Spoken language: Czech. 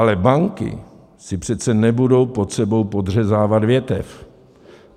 Ale banky si přece nebudou pod sebou podřezávat větev.